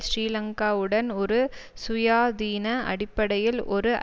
ஸ்ரீலங்காவுடன் ஒரு சுயாதீன அடிப்படையில் ஒரு